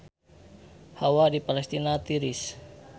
Hawa di Palestina tiris